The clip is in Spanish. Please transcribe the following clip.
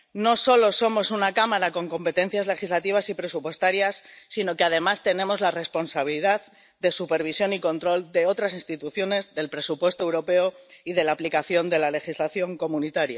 No solo somos una Cámara con competencias legislativas y presupuestarias, sino que además tenemos la responsabilidad de supervisión y control de otras instituciones, del presupuesto europeo y de la aplicación de la legislación de la Unión.